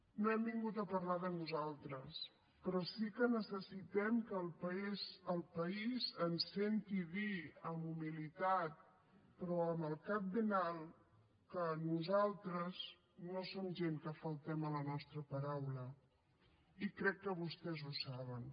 no hem vingut a parlar de nosaltres però sí que necessitem que el país ens senti dir amb humilitat però amb el cap ben alt que nosaltres no som gent que faltem a la nostra paraula i crec que vostès ho saben